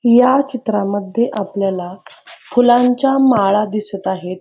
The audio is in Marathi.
या चित्रा मध्ये आपल्याला फुलांच्या माळा दिसत आहेत.